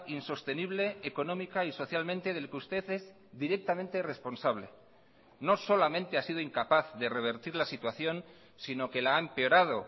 insostenible económica y socialmente del que usted es directamente responsable no solamente ha sido incapaz de revertir la situación sino que la ha empeorado